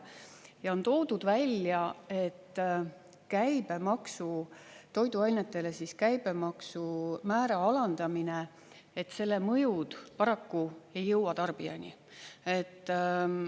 Ja on toodud välja, et toiduainete käibemaksumäära alandamise mõjud paraku ei jõua tarbijani.